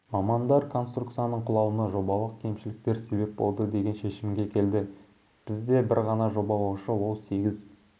мамандар конструкцияның құлауына жобалық кемшіліктер себеп болды деген шешімге келді бізде бір ғана жобалаушы ол сегіз